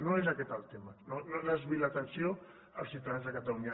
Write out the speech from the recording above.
no és aquest el tema no desviï l’atenció dels ciutadans de catalunya